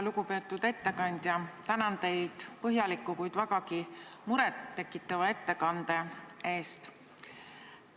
Lugupeetud ettekandja, tänan teid põhjaliku, kuid vägagi muret tekitava ettekande eest!